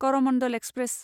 Coromandel express